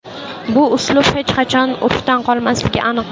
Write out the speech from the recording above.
Bu uslub hech qachon urfdan qolmasligi aniq.